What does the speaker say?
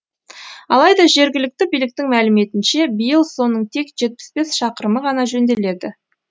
алайда жергілікті биліктің мәліметінше биыл соның тек жетпіс бес шақырымы ғана жөнделеді